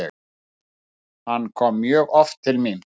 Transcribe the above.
Hann kom mjög oft til mín.